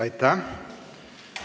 Aitäh!